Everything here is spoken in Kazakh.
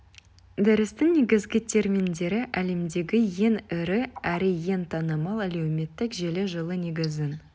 дәрістің негізгі терминдері әлемдегі ең ірі әрі ең танымал әлеуметтік желі жылы негізін